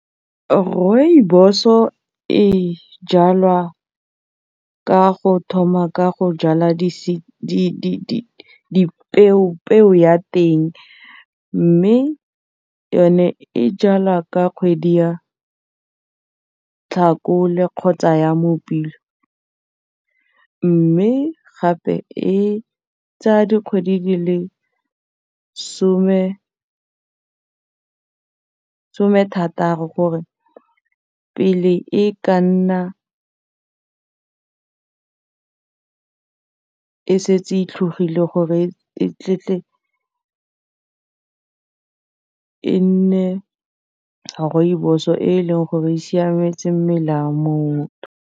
Rooibos-o e jalwa ka go thoma ka go jala peo ya teng mme yone e jalwa ka kgwedi ya Tlhakole kgotsa ya Mopitlwe mme gape e tsaya dikgwedi di le some thatato pele e ka nna e setse e tlhogile gore e tle e nne rooibos-o e leng gore e siametse mmele wa motho.